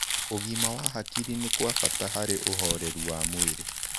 Ũgima wa hakĩrĩ nĩ gwa bata harĩ ũhorerũ wa mwĩrĩ